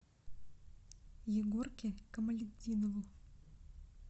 егорке камалетдинову